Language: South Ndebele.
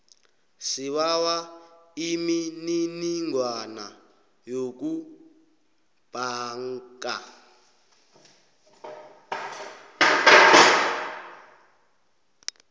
sibawa imininingwana yokubhanga